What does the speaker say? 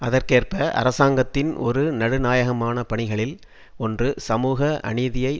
அதற்கேற்ப அரசாங்கத்தின் ஒரு நடுநாயகமான பணிகளில் ஒன்று சமூக அநீதியை